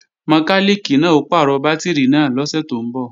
Mọkálìkì náà ó pàrọ̀ bátìrì náà lọ́sẹ̀ tó ń bọ̀